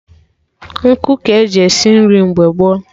Nkụ ka-eji esi nri mgbe gboo